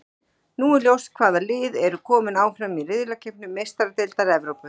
Nú er ljóst hvaða lið eru kominn áfram í riðlakeppni Meistaradeildar Evrópu.